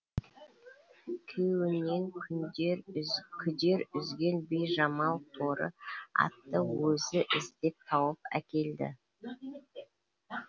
күйеуінен күндер күдер үзген бижамал торы атты өзі іздеп тауып әкелді